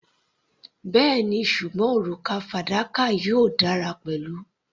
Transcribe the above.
Bẹ́ẹ̀ni, ṣùgbọ́n òrùka fadakà yóò dára pẹ̀lú.